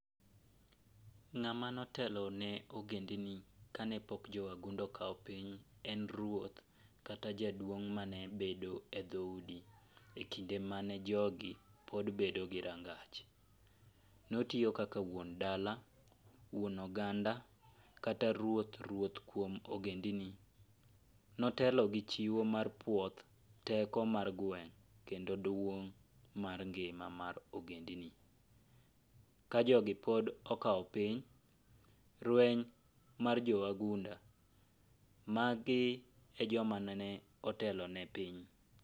Ng'ama no teloni ne ogendini kane pok jowagunda okawo piny en ruoth kata jaduong' mane bedo e dhoudi e kinde man jogi pod bedo gi rangach, notiyo kaka wuon dala, wuon oganda kata ruoth ruoth kuom ogendini, notelo gi chiwo mar puoth, teko mar gweng kendo duong mar ngima mar ogendni, ka jogi pod okawo piny, rweny mar jowagunda magi e joma nene otelo ne piny.